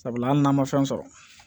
Sabula hali n'an ma fɛn sɔrɔ